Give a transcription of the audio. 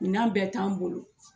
Minan bɛɛ t'an bolo.